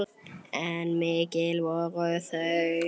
Hvíldu í friði hetjan mín.